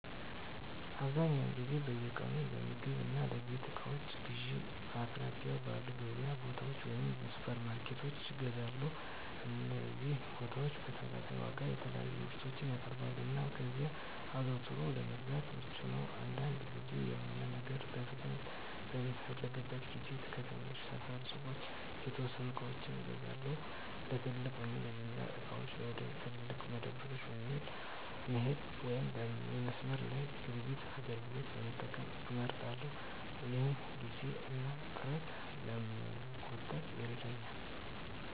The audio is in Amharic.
አብዛኛውን ጊዜ በየቀኑ ለምግብ እና የቤት እቃዎች ግዢዬን በአቅራቢያው ባሉ የገበያ ቦታዎች ወይም ሱፐርማርኬቶች እገዛለሁ። እነዚህ ቦታዎች በተመጣጣኝ ዋጋ የተለያዩ ምርቶችን ያቀርባሉ, እና እዚያ አዘውትሮ ለመግዛት ምቹ ነው. አንዳንድ ጊዜ፣ የሆነ ነገር በፍጥነት በምፈልግበት ጊዜ ከትናንሽ ሰፈር ሱቆች የተወሰኑ ዕቃዎችን እገዛለሁ። ለትልቅ ወይም ለጅምላ ዕቃዎች፣ ወደ ትላልቅ መደብሮች መሄድ ወይም የመስመር ላይ ግብይት አገልግሎቶችን መጠቀም እመርጣለሁ፣ ይህም ጊዜን እና ጥረትን ለመቆጠብ ይረዳል።